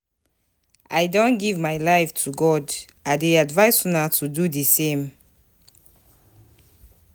I don give my life to God, I dey advice una to do the same